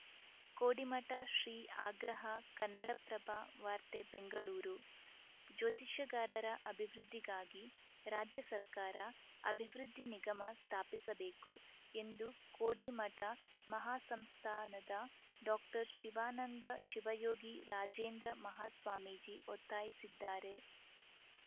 ಕೋಡಿಮಠ ಶ್ರೀ ಆಗ್ರಹ ಕನ್ನಡಪ್ರಭ ವಾರ್ತೆ ಬೆಂಗಳೂರು ಜ್ಯೋತಿಷ್ಯಗಾರರ ಅಭಿವೃದ್ಧಿಗಾಗಿ ರಾಜ್ಯ ಸರ್ಕಾರ ಅಭಿವೃದ್ಧಿ ನಿಗಮ ಸ್ಥಾಪಿಸಬೇಕು ಎಂದು ಕೋಡಿಮಠ ಮಹಾಸಂಸ್ಥಾನದ ಡಾಕ್ಟರ್ ಶಿವಾನಂದ ಶಿವಯೋಗಿ ರಾಜೇಂದ್ರ ಮಹಾಸ್ವಾಮೀಜಿ ಒತ್ತಾಯಿಸಿದ್ದಾರೆ